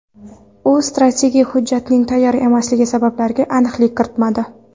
U strategik hujjatning tayyor emasligi sabablariga aniqlik kiritmadi.